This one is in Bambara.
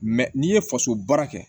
n'i ye faso baara kɛ